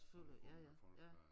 Ud og gå med folk der